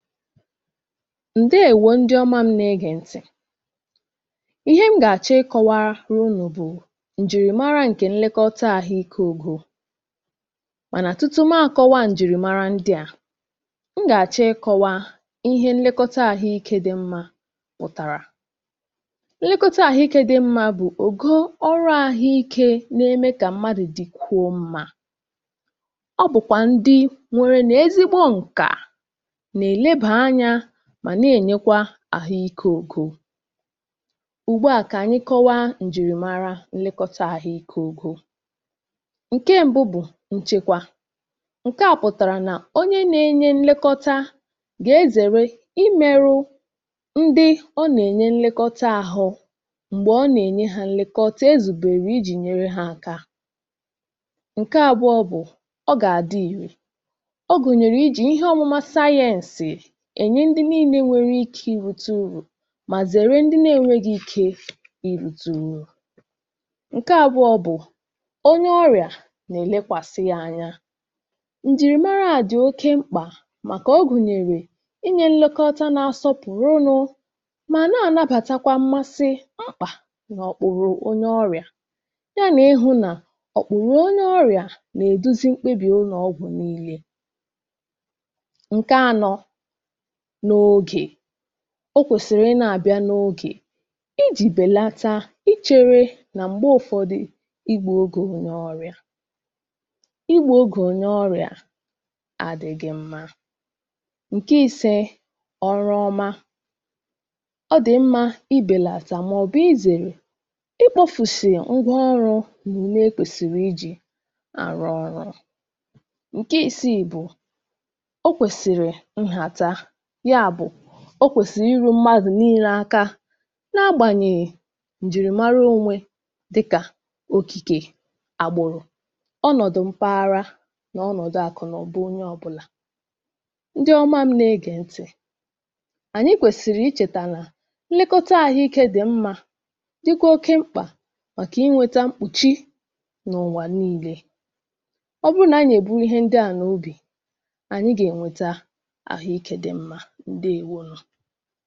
ǹdèwo ndị ọma m̄ na ẹgẹ̀ ntị̀ ihe m gà àchọ ị kọwara unù bụ̀ ǹjìrìmara ǹkẹ nlẹkọta àhụ ikē ògò mànà tutu maa kọwa ǹjị̀mara ndị à m gà àchọ ị kọwa ihe nnẹkọta àhụ ikē dị mmā pụ̀tàrà nnẹkọta àhụ ikē dị mmā bụ̀ ògo ọrụ ahụikē na-eme kà mmadu dịkwuo mmā ọ bụ̀kwà ndị nwerenu ezigbo ǹkà nà èlebà anyā mà nà ènyekwa àhụ ikē ogo ùgbu à kà ànyị kọwa ǹjìrìmara nnẹkọta àhụ ikē dị ogo ǹke mbụ bụ̀ nchekwa ǹkẹ à pụ̀tàrà nà onye nà enye nlekota gà ezère ị mẹrụ ndị ọ nà ènye nlekota ahụ m̀gbè ọ nà ènye ha nlekota e zùbèrè ịjị̄ nyẹrẹ ha aka ǹkẹ abụọ bụ̀ ọ gà àdị ìrè ọ gùnyèrè ịjị̀ ihe ọmụma sayēnsì ènye ndị nille nwẹrẹ ikē irīte urù mà zẹ̀rẹ ndị na ẹnwẹghị ikē irīte urù ǹkẹ abụọ bụ̀ ọnye ọrịà nà ẹ̀ nẹkwàsị yā anya ǹjị̀rịmara a dị̀ oke mkpà màkà ọ gùnyèrè inyē nnẹkọta na-asọpụ̀rụ nụ̄ mà nà ànabàtakwa mmasi mkpà nà ọkpùro onye orịà ya nà ịhụ̄ nà ọ̀kpụ̀rụ̀ onye orịà nà èdozi mkpebi ụnọ̀ ọgwụ̀ nille ǹkẹ anọ n’ogè o kwèsìrì ị nā àbịa n’ogè ịjị̀ bèlata ị chere nà m̀gbe ụfọdị ị gbụ̄ ogè onye ọrịà ị gbụ̄ ogè onye ọrịà a dị̄ghị mma ǹkẹ isẹ ọrụ ọma ọ dị̀ mmā ị bèlàtà mà ọ bụ̀ ị zèrè ị kpofùsì ngwa ọrụ̄ nà ùme e kwèsìrì ịjị̄ àrụ ọrụ̄ ǹke ịsị̀ị̀ bụ̀ ọ kwèsìrì nhàta ya bụ̀ ọ kwèsìrì ị ru na agbànyèghì ǹjị̀rị̀mara onwe dịkà òkìkè agbụrụ ọnọ̀dụ̀ mpaghara nà ọnọ̀dụ àkụ̀nụ̀ba onye ọbụnà ndị ọma m̄ nà egè ntị̀ ànyị kwèsìrì ị chèta nà nlẹkọta ahụ̀ ikē dị mmā dịkwa oke mkpà màkà ị nwẹta mkpụ̀chị nà ùwà nille ọ bụ nà anyị̀ nà èbu ihe ndị à n’obì ànyị gà ènweta àhu ikē dị mmā ǹdèwo